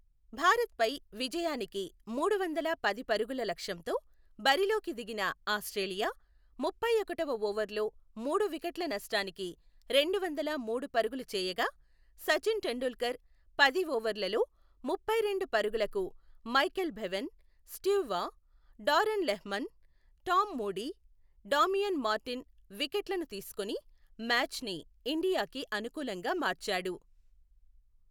భారత్ పై విజయానికి మూడువందల పది పరుగుల లక్ష్యంతో బరిలోకి దిగిన ఆస్ట్రేలియా, ముప్పైఒకటవ ఓవర్లో మూడు వికెట్ల నష్టానికి రెండువందల మూడు పరుగులు చేయగా, సచిన్ టెండూల్కర్ పది ఓవర్లలో ముప్పైరెండు పరుగులకు Michael Bevan, Steve Waugh, Darren Lehmann, Tom Moody, Damien Martyn వికెట్లను తీసుకొని మ్యాచ్ ని ఇండియాకి అనుకూలంగా మార్చాడు .